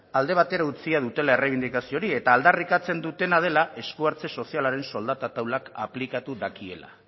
alde batera utzita dutela errebindikazio hori eta aldarrikatzen dutena dela esku hartze sozialaren soldata taulak aplikatu dakiela